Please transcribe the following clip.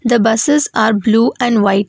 The buses are blue and white.